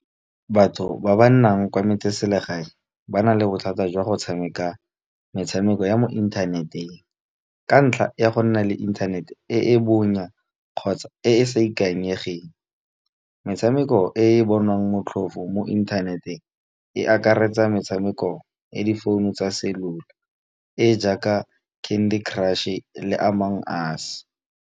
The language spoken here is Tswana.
Batho ba ba nnang kwa metseselegae, ba na le bothata jwa go tshameka metshameko ya mo inthaneteng. Ka ntlha ya go nna le inthanete e e bonya kgotsa e e sa ikanyegeng. Metshameko e e bonwang motlhofo mo inthaneteng e akaretsa metshameko ya difounu tsa cellular, e jaaka candy crush e le amongst us.